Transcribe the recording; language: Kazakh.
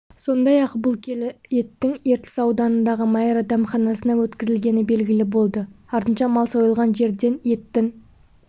сондай-ақ бұл келі еттің ертіс ауданындағы майра дәмханасына өткізілгені белгілі болды артынша мал сойылған жерден еттің